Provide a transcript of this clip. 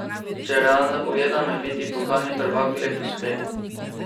Če realno pogledam, je biti pokalni prvak lep uspeh.